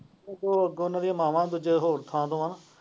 ਅੱਗੋਂ ਉਹਨਾਂ ਦੀਆ ਮਾਵਾਂ ਦੂਜੇ ਹੋਰ ਥਾਂ ਤੋਂ ਹੈ।